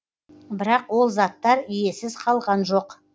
бірақ ол заттар иесіз қалған жоқ